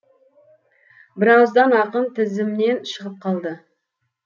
бірауыздан ақын тізімнен шығып қалды